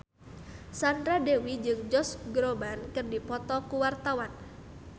Sandra Dewi jeung Josh Groban keur dipoto ku wartawan